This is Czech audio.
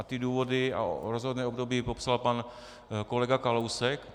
A ta důvody a rozhodné období popsal pan kolega Kalousek.